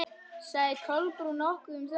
Sagði Kolbrún nokkuð um það?